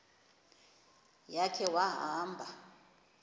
ya khe wahamba